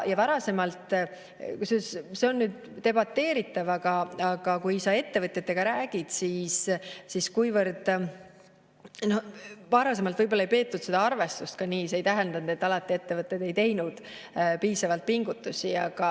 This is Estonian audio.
See on debateeritav, aga kui sa ettevõtjatega räägid, siis varasemalt võib-olla ei peetud ka seda arvestust nii, aga see ei tähenda, et ettevõtted ei teinud piisavalt pingutusi.